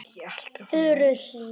Furuhlíð